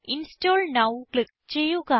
install now click ചെയ്യുക